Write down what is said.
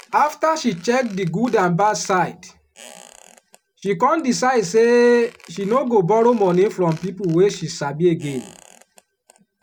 investors dey divide their money put for different places like stocks bonds and mutual funds sto play save.